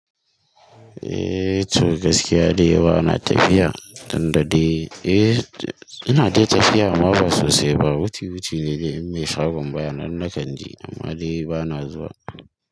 Eh to gaskiya dai bana tafiya, tunda dai eh ina dai tafiya amma ba sosai ba, wuci-wuci ne dai, in mai shagon baya nan na kanje amma dai bana zuwa.